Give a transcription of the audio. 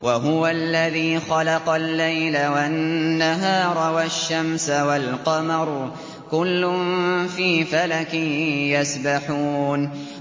وَهُوَ الَّذِي خَلَقَ اللَّيْلَ وَالنَّهَارَ وَالشَّمْسَ وَالْقَمَرَ ۖ كُلٌّ فِي فَلَكٍ يَسْبَحُونَ